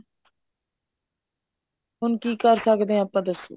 ਹੁਣ ਕੀ ਕਰ ਸਕਦੇ ਆਂ ਆਪਾਂ ਦੱਸੋ